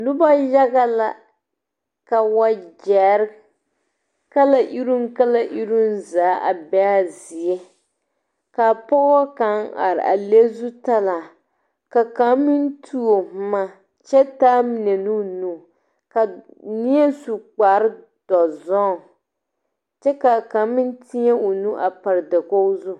Noba yaga la ka wagyɛrre kala iruŋ kala iruŋ zaa a beea zie ka pɔɔ kaŋ are a le zutalaa ka kaŋ meŋ tuo bomma kyɛ taa mine koo nu ka nie su kpare dɔzɔŋ kyɛ kaa kaŋ meŋ tēɛ o nu a pare dakoge zu.